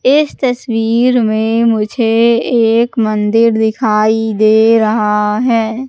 इस तस्वीर में मुझे एक मंदिर दिखाई दे रहा है।